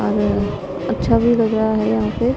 अच्छा भीं लग रहा हैं यहां पे।